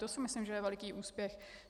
To si myslím, že je veliký úspěch.